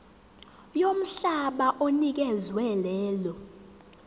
yomhlaba onikezwe lelo